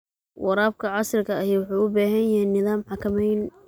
Waraabka casriga ahi wuxuu u baahan yahay nidaam xakameyn.